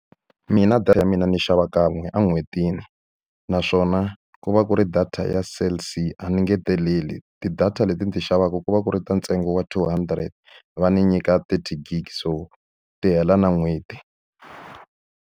Mina data ya mina ni xava kan'we en'hwetini naswona ku va ku ri data ya Cell C, a ni engeteleli. Ti-data leti ni ti xavaka ku va ku ri ta ntsengo wa two hundred, va ni nyika thirty gig so ti hela na n'hweti.